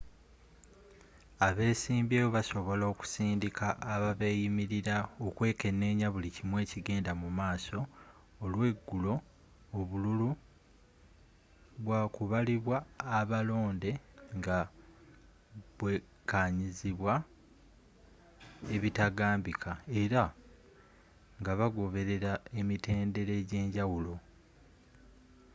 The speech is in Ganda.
abesimbyewo basobola okusindika ababeyimirira okwekenenya buli kimu ekigenda mu maaso olweggulo obululu bwakubalibwa abalonde nga bwekanyizibwa ebitaganbika era ngabagoberera emitendera egyenjawulo